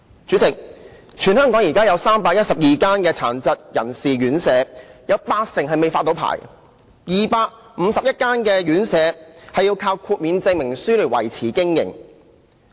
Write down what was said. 主席，現時全港有312間殘疾人士院舍，有八成未獲發牌 ，251 間院舍要靠豁免證明書來維持經營。